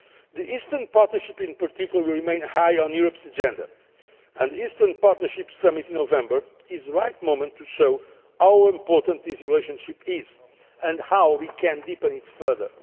The Eastern Partnership in particular will remain high on Europe's agenda, and the Eastern Partnership Summit in November is the right moment to show how important this relationship is and how we can deepen it further.